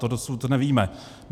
To dosud nevíme.